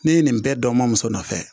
Ne ye nin bɛɛ dɔn n ma muso nɔfɛ